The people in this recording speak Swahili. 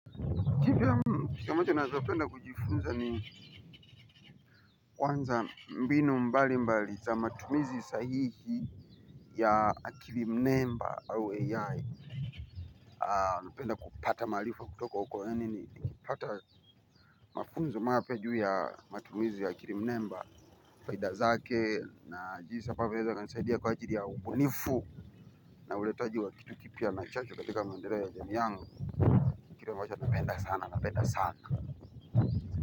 Kipya mmh kitu moja nawezapenda kujifunza ni kwanza mbinu mbali mbali za matumizi sahihi ya akilimnemba au ai. Napenda kupata marifa kutoka huko yaani ni kupata mafunzo mapya juu ya matumizi ya akilimnemba. Faida zake na jinsi ambavyo inaweza kunsaidia kwa ajili ya ubunifu na uletaji wa kitu kipya na chanzo katika maendeleo ya jamii yangu. Kitu ambacho napenda sana napenda sana.